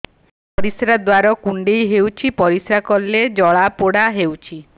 ପରିଶ୍ରା ଦ୍ୱାର କୁଣ୍ଡେଇ ହେଉଚି ପରିଶ୍ରା କଲେ ଜଳାପୋଡା ହେଉଛି